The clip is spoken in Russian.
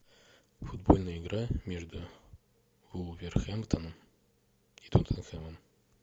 футбольная игра между вулверхэмптоном и тоттенхэмом